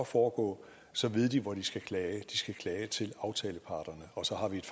foregå så ved de hvor de skal klage de skal klage til aftaleparterne og så har vi et